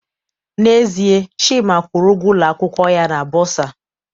N'ezie, Chima kwụrụ ụgwọ ụlọ akwụkwọ ya na bursar